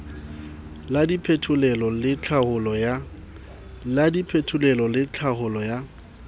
la diphetolelo le tlhaolo ya